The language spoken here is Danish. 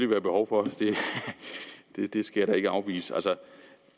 være behov for det det skal jeg da ikke afvise altså